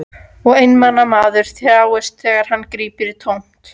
Og einmana maður þjáist þegar hann grípur í tómt.